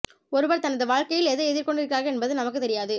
ஒருவர் தனது வாழ்க்கையில் எதை எதிர்கொண்டு இருக்கிறார் என்பது நமக்கு தெரியாது